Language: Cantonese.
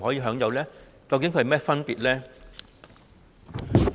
兩者究竟有何分別？